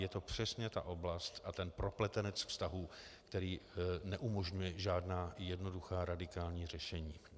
Je to přesně ta oblast a ten propletenec vztahů, který neumožňuje žádná jednoduchá radikální řešení.